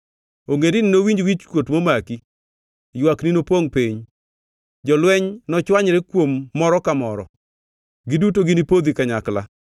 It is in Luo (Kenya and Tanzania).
Ogendini nowinj wichkuot momaki; ywakni nopongʼ piny. Jolweny nochwanyre kuom moro ka moro; giduto ginipodhi kanyakla.”